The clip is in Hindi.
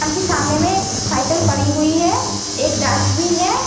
दुकान के सामने एक साइकिल पड़ी हुई है। एक डस्टबिन है।